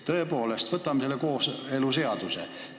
Tõepoolest, võtame selle kooseluseaduse.